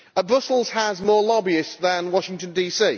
Brussels has more lobbyists than Washington DC.